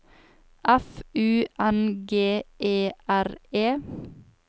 F U N G E R E